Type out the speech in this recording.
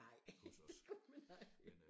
Nej gud nej